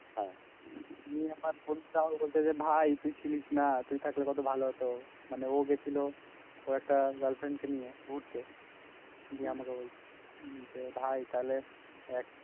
নিয়ে আমার বন্ধুটা আমাকে বলছে যে ভাই তুই ছিলিস না তুই থাকলে কত ভালো হতো মানে ও গেছিল ওর একটা গার্ল ফ্রেন্ড কে নিয়ে ঘুড়তে দিয়ে আমাকে বলছে ভাই তালে তুই এক